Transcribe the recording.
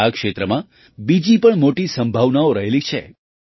હવે આ ક્ષેત્રમાં બીજી પણ મોટી સંભાવનાઓ રહેલી છે